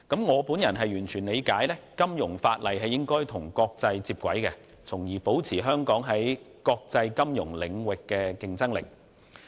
我完全理解，金融法例必須與國際接軌，才能維持香港在國際金融領域的競爭力。